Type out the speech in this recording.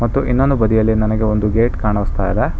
ಮತ್ತು ಇನೋಂದು ಬದಿಯಲ್ಲಿ ನನಗೆ ಒಂದು ಗೇಟ್ ಕಾಣಸ್ತಾಯಿದೆ.